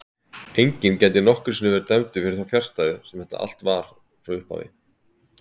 Enginn gæti nokkru sinni verið dæmdur fyrir þá fjarstæðu sem þetta allt var frá upphafi.